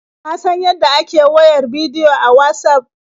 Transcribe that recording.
Ka san yadda ake wayar bidiyo a Watsaf?